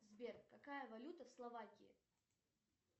сбер какая валюта в словакии